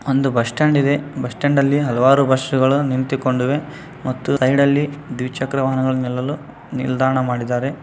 ಒಂದು bus stand ಇದೆ bus stand ಅಲಿ ಹಲವಾರು ಬಸ್ಸುಗಳು ನಿಂತುಕೊಂಡಿದೆ ಸೈಡಿನಲ್ಲಿ ದ್ವಿಚಕ್ರ ವಾಹನಗಳು ನಿಲ್ಲಲು ನಿಲ್ದಾಣ ಮಾಡಿದ್ದಾರೆ.